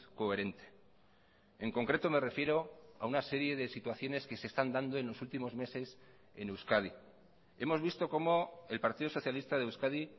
coherente en concreto me refiero a una serie de situaciones que se están dando en los últimos meses en euskadi hemos visto cómo el partido socialista de euskadi